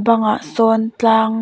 bangah sawn tlang